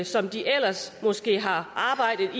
som de ellers måske har arbejdet